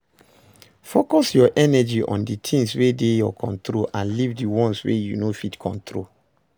Focus your energy on di things wey dey your control and leave di ones wey you no fit control